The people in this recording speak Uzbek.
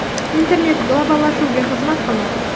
Internet globallashuvga xizmat qilmoqda.